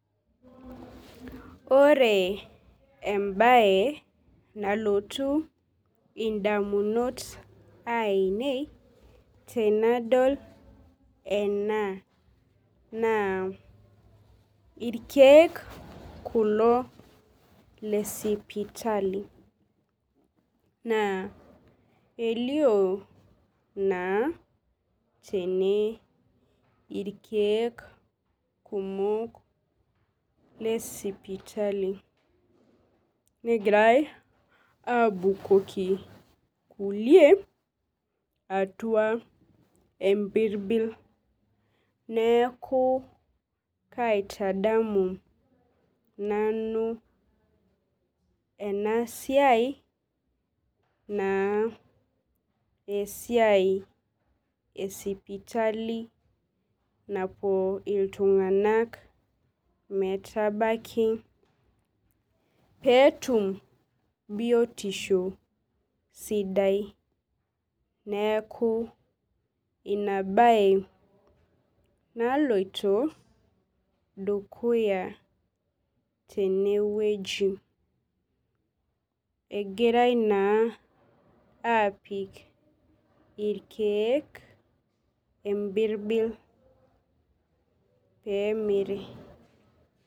Ore embaye nalotu indamunot ainiei tenedol ena naa irkeek kulo lesipitali naa elioo naa tene irkeek kumok lesipitali negirai aabukoki kulie atua empirbil neeku kaitadmu nanu ena siai naa esiai esipitali napuo iltung'nak metabaki pee etum biotisho sidai neeku ina baye naloito dukuya tenewueji, egirai naa aapik irkeek empirbil pee emiri.